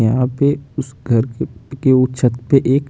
यहाँ पे उस घर के उप के छत पे एक--